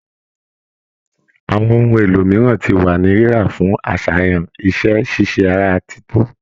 Àwọn ohun èlò mìíràn ti wà ní rírà fún aṣayan iṣẹ-ṣíṣe ara títò